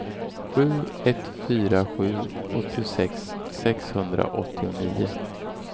sju ett fyra sju åttiosex sexhundraåttionio